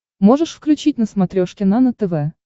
можешь включить на смотрешке нано тв